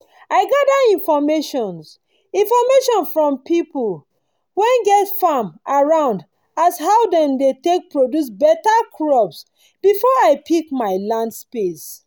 i gada infomations infomations from pipu wen get farm around as how dem dey take produce beta crops before i pick my land space